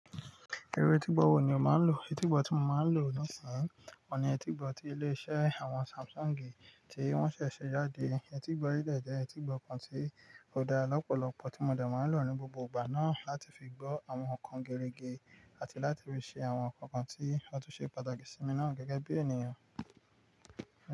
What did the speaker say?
Irú etígbọ́ wo ni o máa ń lò? Etígbọ́ tí mo máa ń lò lóṣan ọ̀ní, ọ̀ní etígbọ́ tí ilé iṣẹ́ àwọn Samsungi tí wọ́n ṣẹ̀ ṣẹ̀ jáde. Etígbọ́ yí jẹ́ etígbọ́ kan tí ó da lọ́pọ̀lọpọ̀ tí mo dẹ̀ máa ń lò ní gbogbo ìgbà náà láti fi gbọ́ àwọn nǹkan gerege àti láti fi ṣe àwọn nǹkan kan tí ó tún ṣe pàtàkì sí mi náà gẹ́gẹ́ bí ènìyàn.